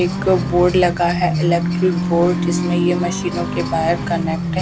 एक बोर्ड लगा है इलेक्ट्रिक बोर्ड जिसमें ये मशीनों के बाहर कनेक्ट है।